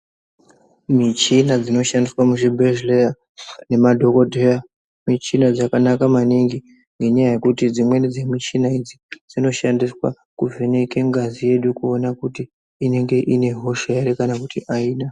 Michina dzinoshandiswa muchibhedhlera ngemadhogodheya, michina dzakanaka maningi, ngenyaya uekuti dzimweni dzemichina idzi, dzinoshandiswe kuvheneke ngazi yedu kuone kuti inenge ine hosha here kana kuti haina.